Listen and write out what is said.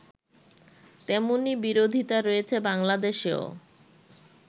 তেমনই বিরোধিতা রয়েছে বাংলাদেশেও